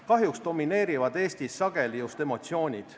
Kahjuks domineerivad Eestis sageli just emotsioonid.